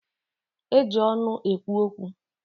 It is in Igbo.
E ji ọnụ ekwu okwu.